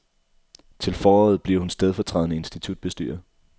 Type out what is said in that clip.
Til foråret bliver hun stedfortrædende institutbestyrer.